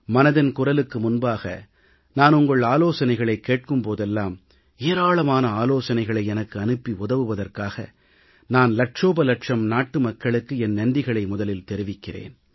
மனதின் குரலுக்கு முன்பாக நான் உங்கள் ஆலோசனைகளைக் கேட்கும் போதெல்லாம் ஏராளமான ஆலோசனைகளை எனக்கு அனுப்பி உதவுவதற்காக நான் இலட்சோபலட்சம் நாட்டு மக்களுக்கு என் நன்றிகளை முதலில் தெரிவிக்கிறேன்